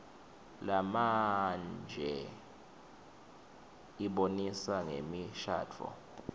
lamandje ibonisa ngemishadvo